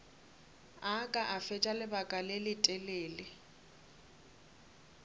ka fetša lebaka le letelele